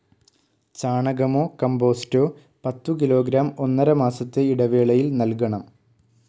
ചാണകമോ കമ്പോസ്റ്റോ പത്തുകിലോഗ്രാം ഒന്നരമാസത്തെ ഇടവേളയിൽ നൽകണം.